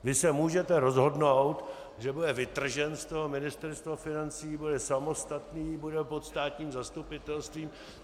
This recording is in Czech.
Vy se můžete rozhodnout, že bude vytržen z toho Ministerstva financí, bude samostatný, bude pod státním zastupitelstvím.